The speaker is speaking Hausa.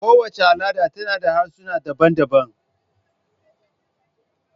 Kowace al'ada tana da harsuna daban-daban.